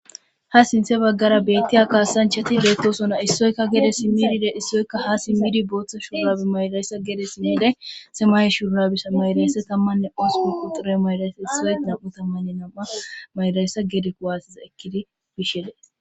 Ha sinthe baggara beettiy a kaasanchati beettosona issoyka gede simmidide issoykka ha simmidi booththa shurabi maylayssa gede simmide simay shurnabissa maylaysse tammanne osupu quxire maylaysse issoy nam'u tammanne nam'a maylayssa gedek waasiza ekkidi bisheles.